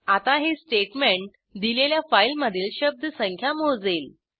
आता हे स्टेटमेंट दिलेल्या फाईलमधील शब्दसंख्या मोजेल